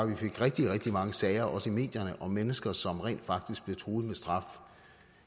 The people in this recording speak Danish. vi fik rigtig rigtig mange sager også i medierne om mennesker som rent faktisk blev truet med straf